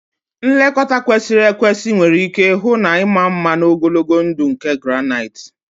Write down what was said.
Nlekọta kwesịrị ekwesị nwere ike hụ na ịma mma na ogologo ndụ nke granite